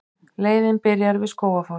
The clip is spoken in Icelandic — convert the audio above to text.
Leiðin byrjar við Skógafoss.